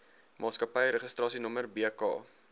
maatskappy registrasienommer bk